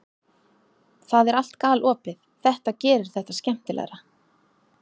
Það er allt galopið, þetta gerir þetta skemmtilegra.